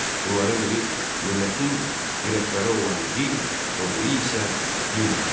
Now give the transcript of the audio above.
Bunların biri millətin dirəkləri olan dil, o biri isə dindir.